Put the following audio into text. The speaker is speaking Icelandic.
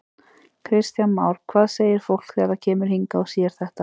Kristján Már: Hvað segir fólk þegar það kemur hingað og sér þetta?